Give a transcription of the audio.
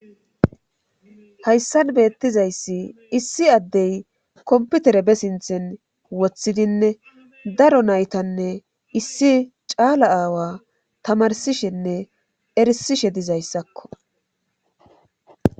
Hayssan beettizayssi issi addey komputere be sinthen wothidinne daro naytanne issi caala aawa tamarsishenne erisishe dizayssakko